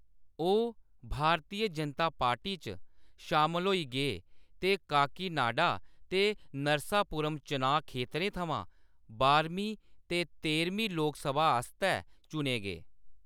ओह्‌‌ भारतीय जनता पार्टी च शामल होई गे ते काकीनाडा ते नरसापुरम चुनांऽ खेत्तरें थमां बारमीं ते तेरमीं लोकसभा आस्तै चुने गे।